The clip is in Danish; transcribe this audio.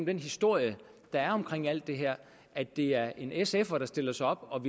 den historie der er omkring alt det her at det er en sf’er der stiller sig op og